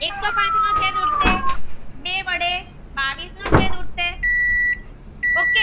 બાવીસ નો છેદ ઉદાસે ok